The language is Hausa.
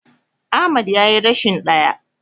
Ahmad yayi rashin ɗaya.